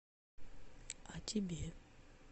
а тебе